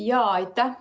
Aitäh!